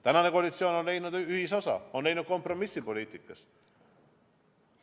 Tänane koalitsioon on leidnud ühisosa, on leidnud kompromissi poliitikas.